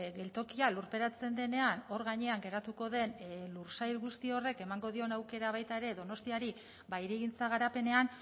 geltokia lurperatzen denean hor gainean geratuko den lursail guzti horrek emango dion aukera baita ere donostiari hirigintza garapenean